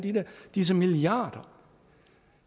disse milliarder